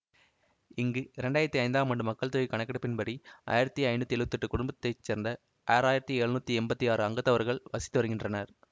இங்கு இரண்டு ஆயிரத்தி ஐந்தாம் ஆண்டு மக்கள் தொகை கணக்கெடுப்பின்படி ஆயிரத்தி ஐநூற்றி எழுவத்தி எட்டு குடும்பத்தை சேர்ந்த ஆறு ஆயிரத்தி எழுநூற்றி எம்பத்தி ஆறு அங்கத்தவர்கள் வசித்து வருகின்றனர்